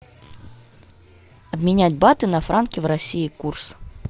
обменять баты на франки в россии курс